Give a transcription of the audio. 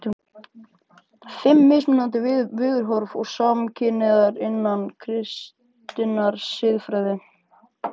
FIMM MISMUNANDI VIÐHORF TIL SAMKYNHNEIGÐAR INNAN KRISTINNAR SIÐFRÆÐI